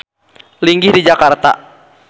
Linggih di Jakarta.